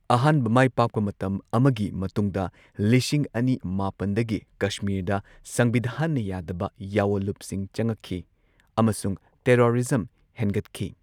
ꯑꯍꯥꯟꯕ ꯃꯥꯏꯄꯥꯛꯄ ꯃꯇꯝ ꯑꯃꯒꯤ ꯃꯇꯨꯡꯗ ꯂꯤꯁꯤꯡ ꯑꯅꯤ ꯃꯥꯄꯟꯗꯒꯤ ꯀꯁꯃꯤꯔꯗ ꯁꯪꯚꯤꯙꯥꯟꯅ ꯌꯥꯗꯕ ꯌꯥꯑꯣꯟꯂꯨꯞꯁꯤꯡ ꯆꯪꯉꯛꯈꯤ ꯑꯃꯁꯨꯡ ꯇꯦꯔꯣꯔꯤꯖꯝ ꯍꯦꯟꯒꯠꯈꯤ꯫